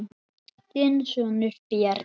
Þinn sonur, Bjarni.